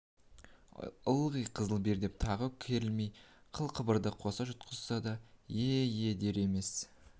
ылғи қызыл бер деп тағы керілмейді қыл-қыбырды қоса жұтқызсаң да е-е дер емес